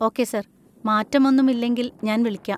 Okay sir, മാറ്റം ഒന്നും ഇല്ലെങ്കിൽ, ഞാൻ വിളിക്കാം.